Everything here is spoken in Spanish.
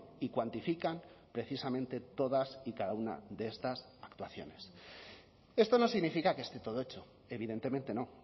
y cuantifican precisamente todas y cada una de estas actuaciones esto no significa que esté todo hecho evidentemente no